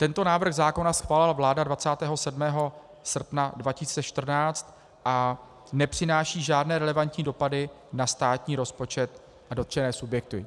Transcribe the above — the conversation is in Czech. Tento návrh zákona schválila vláda 27. srpna 2014 a nepřináší žádné relevantní dopady na státní rozpočet a dotčené subjekty.